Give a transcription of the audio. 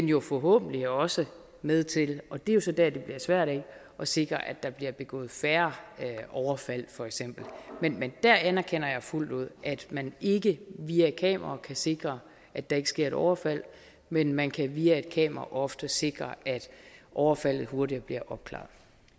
jo forhåbentlig også med til og det er så dér det bliver svært at sikre at der bliver begået færre overfald for eksempel men jeg anerkender fuldt ud at man ikke via kameraer kan sikre at der ikke sker et overfald men man kan via et kamera ofte sikre at overfaldet hurtigere bliver opklaret